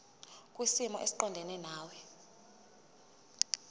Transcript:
kwisimo esiqondena nawe